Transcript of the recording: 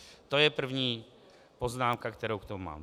To je první poznámka, kterou k tomu mám.